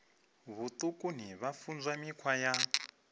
vhutukani vha funzwa mikhwa ya